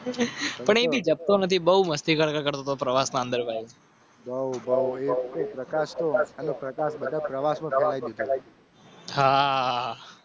તો નથી બહુ મસ્તી કરતો પ્રવાસ. નવો પ્રકાશ પ્રકાશ બધા પ્રવાસોથા.